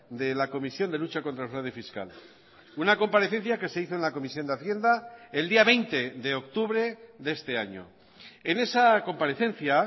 de la comisión de lucha contra el fraude fiscal una comparecencia que se hizo en la comisión de hacienda el día veinte de octubre de este año en esa comparecencia